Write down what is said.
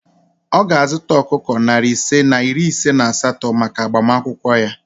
Ọ ga-azụta ọkụkọ narị ise na iri ise na asatọ maka agbamakwụkwọ ya